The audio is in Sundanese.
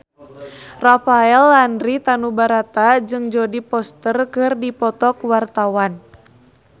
Rafael Landry Tanubrata jeung Jodie Foster keur dipoto ku wartawan